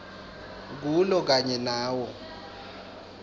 kulo kanye nawo